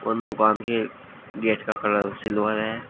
दूकान के गेट का कलर सिल्वर है।